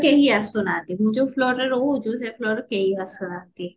ଆମ floorରେ କେହି ଆସୁନାହାନ୍ତି ମୁଁ ଯୋଉ floorରେ ରହୁଚି ସେ floorରେ କେହି ଆସୁନାହାନ୍ତି